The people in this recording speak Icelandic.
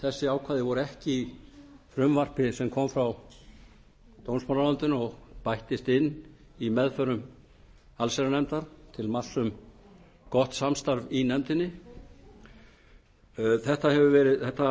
þessi ákvæði voru ekki í frumvarpi sem kom frá dómsmálaráðuneytinu og bættist inn í meðförum allsherjarnefndar til marks um gott samstarf í nefndinni þetta hafa